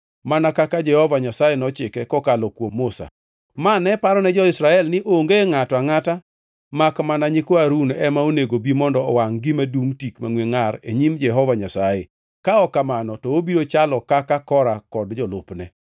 mana kaka Jehova Nyasaye nochike kokalo kuom Musa. Ma ne parone jo-Israel ni onge ngʼato angʼata makmana nyikwa Harun ema onego bi mondo owangʼ gima dungʼ tik mangʼwe ngʼar e nyim Jehova Nyasaye, ka ok kamano to obiro chalo kaka Kora kod jolupne.